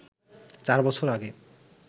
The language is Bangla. চার বছর আগে